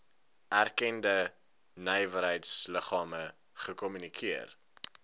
erkende nywerheidsliggame gekommunikeer